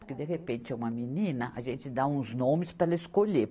Porque de repente é uma menina, a gente dá uns nomes para ela escolher.